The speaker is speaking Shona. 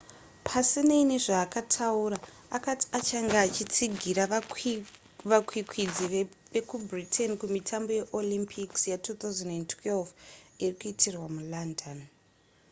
pasinei nezvaakataura akati achange achitsigira vakwikwidzi vekubritain kumitambo yeolympics ya2012 iri kuitirwa mulondon